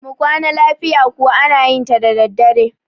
mu Kwana lafiya kuwa ana yinta daddadre